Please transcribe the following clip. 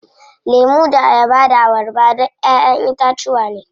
Lemu da ayaba da abarba duk ƴaƴen itacuwa ne.